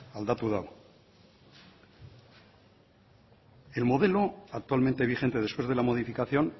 aldatu du el modelo actualmente vigente después de la modificación